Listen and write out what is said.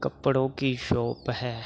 कपड़ो की शॉप है।